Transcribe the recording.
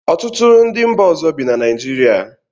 Ọtụtụ ndị mba ọzọ bi na Naijiria